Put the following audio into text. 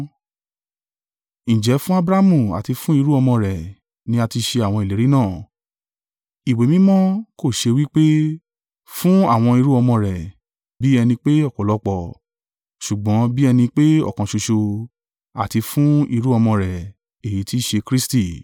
Ǹjẹ́ fún Abrahamu àti fún irú-ọmọ rẹ̀ ni a ti ṣe àwọn ìlérí náà. Ìwé Mímọ́ kò ṣọ wí pé, “fún àwọn irú-ọmọ rẹ̀,” bí ẹni pé ọ̀pọ̀lọpọ̀; ṣùgbọ́n bí ẹni pé ọ̀kan ṣoṣo, “àti fún irú-ọmọ rẹ̀,” èyí tí í ṣe Kristi.